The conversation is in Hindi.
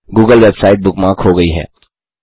गूगल वेबसाइट बुकमार्क हो गई है